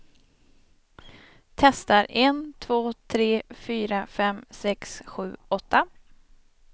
Testar en två tre fyra fem sex sju åtta.